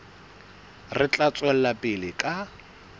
re tla tswela pele ka